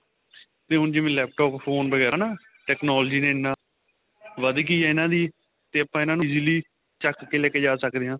ਤੇ ਹੁਣ ਜਿਵੇਂ laptop phone ਵਗੈਰਾ ਨਾ technology ਨੇ ਇੰਨਾ ਵੱਧ ਗਾਈ ਏ ਇੰਨਾ ਦੀ ਤੇ ਆਪਾਂ ਇਹਨਾ ਨੂੰ easily ਚੱਕ ਕੇ ਲੈਕੇ ਜਾ ਸਕਦੇ ਆ